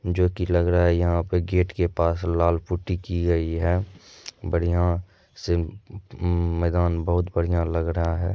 जोकि लग रहा है यहाँ पे गेट के पास लाल पुट्टी की गयी है बढ़िया से मैदान बहुत बढ़िया लग रहा है।